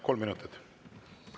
Kolm minutit?